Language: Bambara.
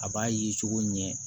A b'a ye cogo ɲɛ